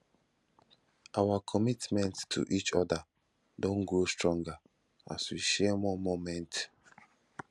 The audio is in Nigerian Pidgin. our commitment to each other don grow stronger as we share more moments